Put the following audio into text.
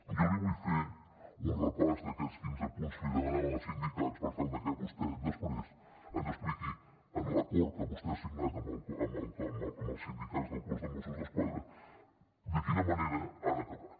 jo li vull fer un repàs d’aquests quinze punts que li demanaven els sindicats per tal de que vostè després ens expliqui en l’acord que vostè ha signat amb els sindicats del cos de mossos d’esquadra de quina manera han acabat